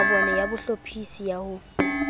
mabone ya bohlophisi ya ho